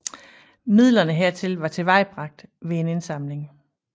Midlerne hertil var tilvejebragt ved en indsamling